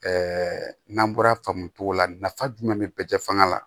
n'an bɔra faamogo la nafa jumɛn bɛ bɛɛ cɛ fanga la